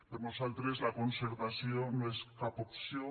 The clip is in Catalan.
per nosaltres la concertació no és cap opció